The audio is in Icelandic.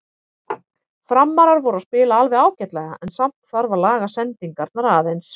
Framarar voru að spila alveg ágætlega en samt þarf að laga sendingarnar aðeins.